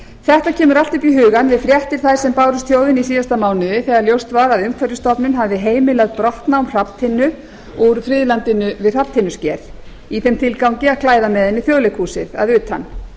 þetta kemur allt upp í hugann við fréttir þær sem bárust þjóðinni í síðasta mánuði þegar ljóst var að umhverfisstofnun hafði heimilað brottnám hrafntinnu úr friðlandinu við hrafntinnusker í þeim tilgangi að klæða með henni þjóðleikhúsið að utan